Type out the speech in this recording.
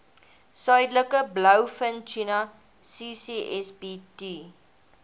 suidelike blouvintuna ccsbt